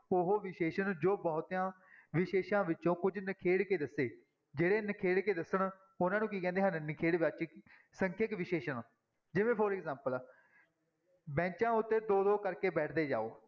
ਉਹ ਵਿਸ਼ੇਸ਼ਣ ਜੋ ਬਹੁਤਿਆਂ ਵਿਸ਼ੇਸ਼ਾਂ ਵਿੱਚੋਂ ਕੁੱਝ ਨਿਖੇੜ ਕੇ ਦੱਸੇ, ਜਿਹੜੇ ਨਿਖੇੜ ਕੇ ਦੱਸਣ, ਉਹਨਾਂ ਨੂੰ ਕੀ ਕਹਿੰਦੇ ਹਨ, ਨਿਖੇੜਵਾਚੀ ਸੰਖਿਅਕ ਵਿਸ਼ੇਸ਼ਣ ਜਿਵੇਂ for example ਬੈਚਾਂ ਉੱਤੇ ਦੋ ਦੋ ਕਰਕੇ ਬੈਠਦੇ ਜਾਓ।